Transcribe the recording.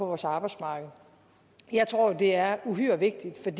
vores arbejdsmarked jeg tror det er uhyre vigtigt